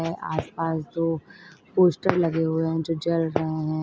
आसपास दो पोस्टर लगे हुए हैं जो जल रहे हैं।